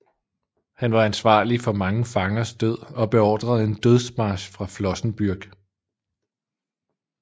Han var ansvarlig for mange fangers død og beordrede en dødsmarch fra Flossenbürg